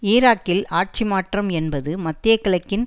ஈராக்கில் ஆட்சி மாற்றம் என்பது மத்திய கிழக்கின்